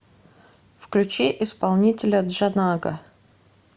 включи исполнителя джанага